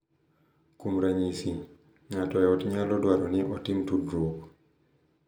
Kuom ranyisi, ng’ato e ot nyalo dwaro ni otim tudruok .